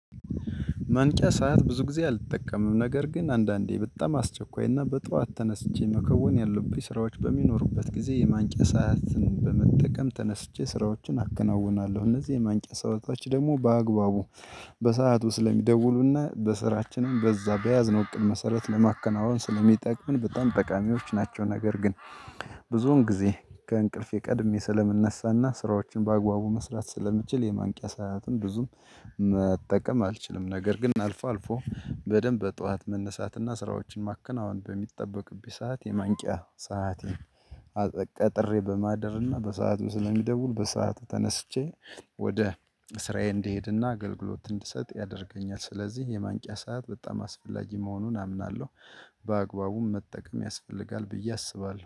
ማንቂያ ሰዓት ብዙ ጊዜ አልጠቀምም ነገር ግን አንዳንዴ በጣም አስቸኳይና በጧት ተነስቼ መከወን ያለብኝ ስራዎች በሚኖሩበት ጊዜ የማንቂያ ሰዓትን በመጠቀም ተነስቼ ስራዎችን አከናውናለሁ እነዚህ የማንቂያ ሰአቶች ደግሞ በአግባቡ በሰአቱ ስለሚደውሉና በስራችንም በዛ በያዝነው እቅድ መሰረት ለማከናወን ስለሚጠቅመን በጣም ጠቃሚዎች ናቸው። ነገር ግን ብዙውን ጊዜ ከእንቅልፌ ቀድሜ ስለምንነሳና ስራዎችን በአግባቡ መስራት ስለምንችል የማንቂያ ሰዓትን ብዙም መጠቀም አልችልም። ነገር ግን አልፎ አልፎ በደንብ በጠዋት መነሳትና ስራዎችን ማከናወን በሚጠበቅብኝ ሰዓት የማንቂያ ሰአቴን ቀጥሬ በማድርና በሰአቱ ስለሚደውል በሰአቱ ተነስቼ ወደ ስራዬ እንድሄድና አገልግሎት እንድሰጥ ያደርገኛል። ስለዚህ የማንቂያ ሰዓት በጣም አስፈላጊ መሆኑን አምናለሁ። በአግባቡም መጠቀም ያስፈልጋል ብዬ አስባለሁ